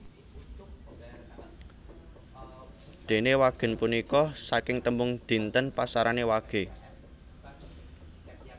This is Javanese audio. Dene wagèn punika saking tembung dinten pasaran wage